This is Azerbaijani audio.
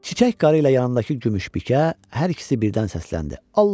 Çiçək qarı ilə yanındakı Gümüşbikə hər ikisi birdən səsləndi: